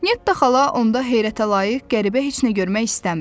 Netta xala onda heyrətəlayiq, qəribə heç nə görmək istəmirdi.